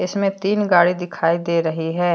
इसमें तीन गाड़ी दिखाई दे रही है।